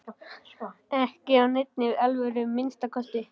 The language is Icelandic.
Ekki af neinni alvöru að minnsta kosti.